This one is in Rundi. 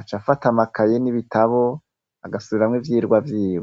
aca afata amakaye n'ibitabo agasubiramwo ivyigwa vyiwe.